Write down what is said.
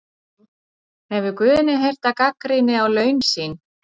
Hefur Guðni heyrt af gagnrýni á laun sín?